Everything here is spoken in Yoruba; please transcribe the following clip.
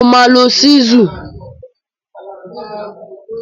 Mo máa lo ṣísù.